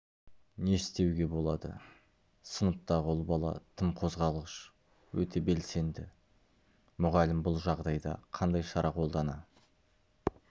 не істеуге болады сыныптағы ұл бала тым қозғалғыш өте белсенді мұғалім бұл жағдайда қандай шара қолдана